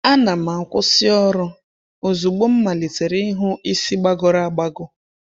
A na'm-akwụsị ọrụ ozugbo m malitere ịhụ isi gbagọrọ agbagọ.